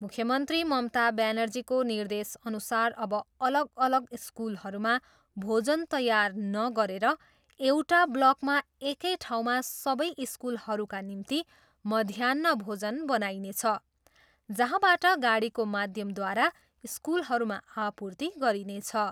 मुख्यमन्त्री ममता ब्यानर्जीको निर्देशअनुसार अब अलग अलग स्कुलहरूमा भोजन तयार नगरेर एउटा ब्लकमा एकै ठाउँमा सबै स्कुलहरूका निम्ति मध्याह्न भोजन बनाइनेछ, जहाँबाट गाडीको माध्यमद्वारा स्कुलहरूमा आपूर्ति गरिनेछ।